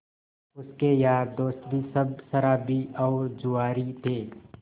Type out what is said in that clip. उसके यार दोस्त भी सब शराबी और जुआरी थे